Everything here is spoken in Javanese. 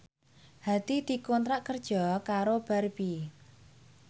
Hadi dikontrak kerja karo Barbie